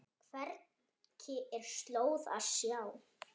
Hvergi er slóð að sjá.